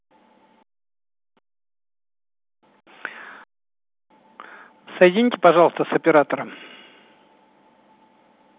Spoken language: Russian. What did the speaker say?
соедините пожалуйста с оператором